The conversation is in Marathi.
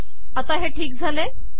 आता हे ठीक झाले